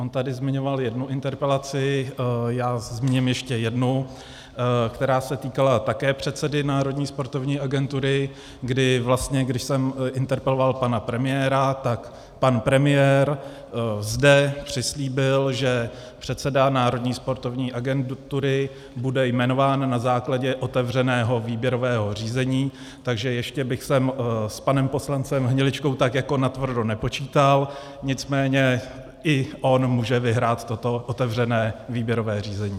On tady zmiňoval jednu interpelaci, já zmíním ještě jednu, která se týkala také předsedy Národní sportovní agentury, kdy vlastně, když jsem interpeloval pana premiéra, tak pan premiér zde přislíbil, že předseda Národní sportovní agentury bude jmenován na základě otevřeného výběrového řízení, takže ještě bych sem s panem poslancem Hniličkou tak jako natvrdo nepočítal, nicméně i on může vyhrát toto otevřené výběrové řízení.